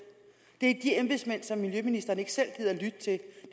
det om de embedsmænd som miljøministeren ikke selv gider at lytte til